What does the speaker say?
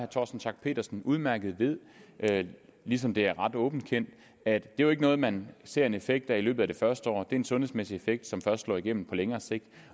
torsten schack pedersen udmærket ved ved ligesom det er ret åbent kendt at det jo ikke er noget man ser en effekt af i løbet af det første år det er en sundhedsmæssig effekt som først slår igennem på længere sigt